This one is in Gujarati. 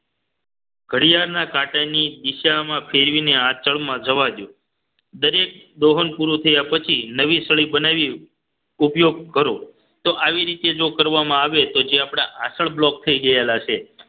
ઘડિયાળના કાંટાની દિશામાં ફેરવીને આંચળમાં જવા દો દરેક દોહન પૂરું થયા પછી નવી સળી બનાવી ઉપયોગ કરો તો આવી રીતે જો કરવામાં આવે તો જે આપણા આંચળ block થઈ ગયેલા છે